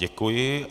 Děkuji.